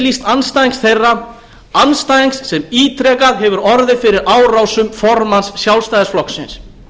yfirlýsts andstæðings þeirra andstæðings sem ítrekað hefur orðið fyrir árásum formanns sjálfstæðisflokksins